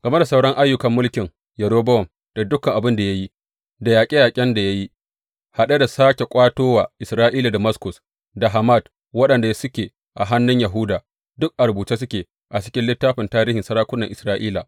Game da sauran ayyukan mulkin Yerobowam, da dukan abin da ya yi, da yaƙe yaƙen da ya yi, haɗe da sāke ƙwato wa Isra’ila Damaskus da Hamat waɗanda suke a hannun Yahuda, duk a rubuce suke a cikin littafin tarihin sarakunan Isra’ila.